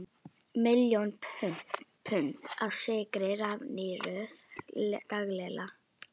Miljón pund af sykri raffíneruð daglega.